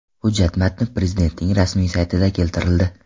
Hujjat matni Prezidentning rasmiy saytida keltirildi .